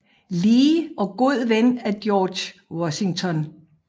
Lee og god ven af George Washington